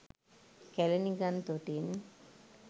කැළණි ගං තොටින්